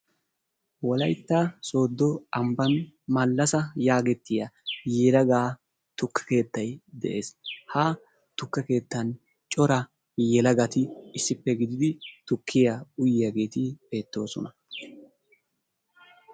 Wolaytta sooddo ambbaan Malasa yaagetiya tukke keettay de'ees. Ha tukke keetttan cora yelagati issippe gididi tukkiya uyiyaageeti bettoosona.